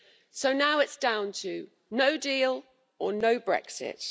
So now it's down to no deal or no Brexit.